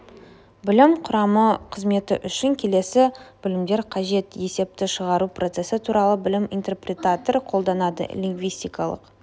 білім құрамы қызметі үшін келесі білімдер қажет есепті шығару процессі туралы білім интерпретатор қолданады лингвистикалық